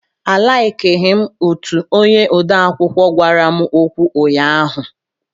A laiki m utu onye odeakwụkwọ gwara m okwu ụnyaahụ.